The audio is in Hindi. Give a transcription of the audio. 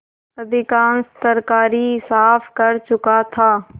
अधिकांश तरकारी साफ कर चुका था